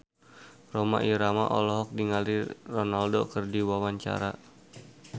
Rhoma Irama olohok ningali Ronaldo keur diwawancara